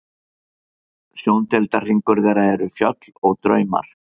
Sjóndeildarhringur þeirra eru fjöll og draumar.